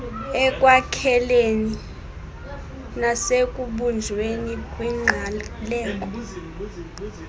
ekwakhekeni nasekubunjweni kwingqaleko